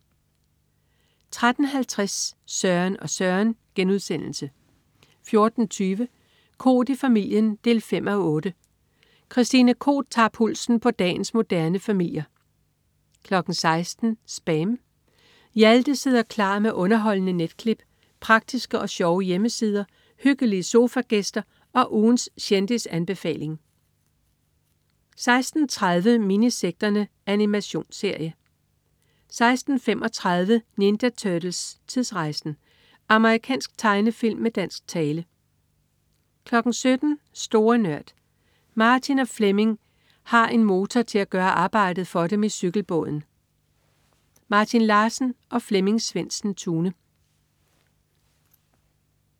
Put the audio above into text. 13.50 Søren og Søren* 14.20 Koht i familien 5:8. Christine Koht tager pulsen på dagens moderne familier 16.00 SPAM. Hjalte sidder klar med underholdende netklip, praktiske og sjove hjemmesider, hyggelige sofagæster og ugens kendisanbefaling 16.30 Minisekterne. Animationsserie 16.35 Ninja Turtles: Tidsrejsen! Amerikansk tegnefilm med dansk tale 17.00 Store Nørd. Martin og Flemming have en motor til at gøre arbejdet for dem i cykelbåden. Martin Larsen og Flemming Svendsen-Tune